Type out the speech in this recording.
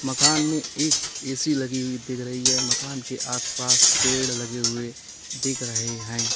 मकान में एक ए_सी लगी हुई दिख रही है मकान के आसपास पेड़ लगे हुए दिख रहे हैं।